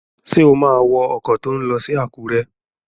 Ṣé o má wọ ọkọ̀ tó n lọ sí Àkúrẹ́?